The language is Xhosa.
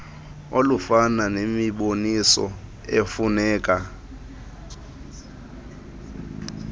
olufana nemiboniso efuneka